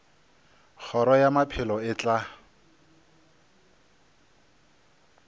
kgoro ya maphelo e tla